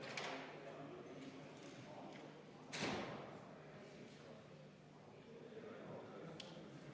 Läheme edasi muudatusettepanekute menetlemisega.